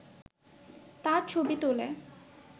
তার ছবি তোলে